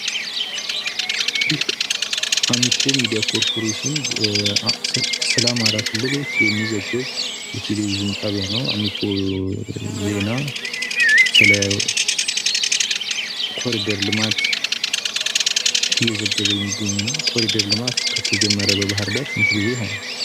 ይህ አሚኮ ሚዲያ ኮርፖሬሽን ስለ አማራ ክልሎች የሚዘግብ የቴሌቪዥን ጣቢያ ነው። አሚኮ ዜና ስለ ኮሪደር ልማት እየተዘገበ የሚገኝ ነው፤ ኮሪደር ልማት ከተጀመረ በባህር ዳር ስንት ጊዜ ሆነው?